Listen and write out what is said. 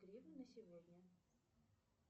гривны на сегодня